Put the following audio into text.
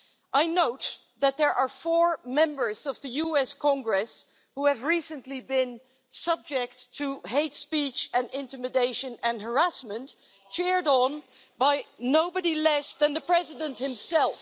I note that there are four members of the US Congress who have recently been subject to hate speech and intimidation and harassment, cheered on by nobody less than the President himself.